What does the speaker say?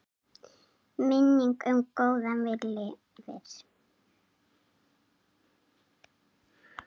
Minning um góðan vin lifir.